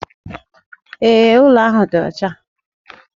Ee, ụlọ ahụ dị ọcha